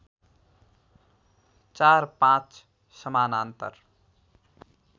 चार पाँच समानान्तर